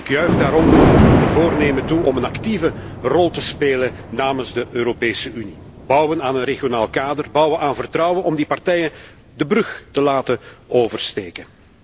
En ik juich daarom uw voornemen toe om een actieve rol te spelen namens de Europese Unie bouwen aan een regionaal kader, bouwen aan vertrouwen om die partijen de brug te laten oversteken.